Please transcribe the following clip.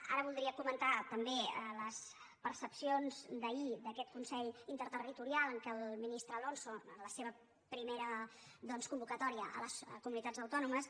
ara voldria comentar també les percepcions d’ahir d’aquest consell interterritorial en què el ministre alonso en la seva primera convocatòria a les comunitats autònomes